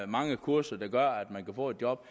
mange kurser der gør at man kan få et job